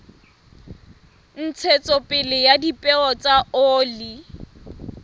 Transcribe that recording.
ntshetsopele ya dipeo tsa oli